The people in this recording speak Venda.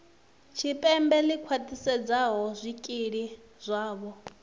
tshipembe ḽi khwaṱhisedzaho zwikili zwavho